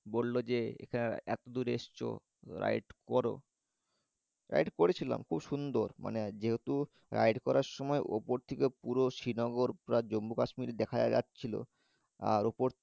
বল্ল যে এতদূর এসেছ ride কর। ride করেছিলাম খুব সুন্দর। মানে যেহেতু ride করার সময় উপর থেকে পুরো শ্রীনগর পুরো জম্মু কাশ্মীর দেখা যাচ্ছিল আর উপর